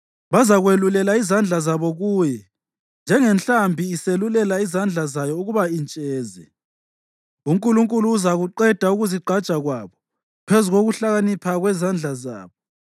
Bazakwelulela izandla zabo kuye, njengenhlambi iselula izandla zayo ukuba intsheze. UNkulunkulu uzakuqeda ukuzigqaja kwabo phezu kokuhlakanipha kwezandla zabo.